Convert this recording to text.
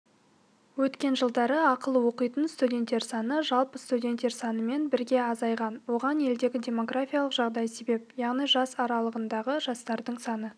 өткен жылдары ақылы оқитын студенттер саны жалпы студенттер санымен бірге азайған оған елдегі демографиялық жағдай себеп яғни жас аралығындағы жастардың саны